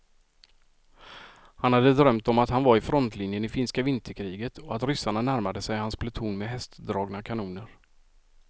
Han hade drömt om att han var i frontlinjen i finska vinterkriget och att ryssarna närmade sig hans pluton med hästdragna kanoner.